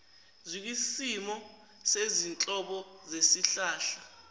zikwisimo sezinhlobo zesihlahla